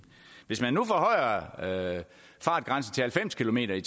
hvis man nu forhøjer fartgrænsen til halvfems kilometer